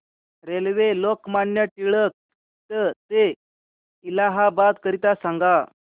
railway Lokmanya Tilak T ते इलाहाबाद करीता सांगा